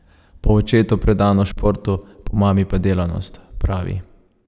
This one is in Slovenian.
Po očetu predanost športu, po mami pa delavnost, pravi.